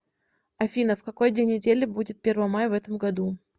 афина в какой день недели будет первомай в этом году